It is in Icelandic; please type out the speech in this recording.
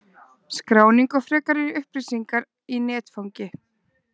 Skráning og frekari upplýsingar í netfangi